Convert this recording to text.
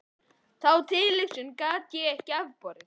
Þá tilhugsun gat ég ekki afborið.